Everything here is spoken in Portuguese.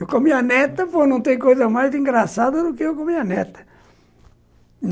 Eu com a neta, pô, não tem coisa mais engraçada do que eu comi a neta.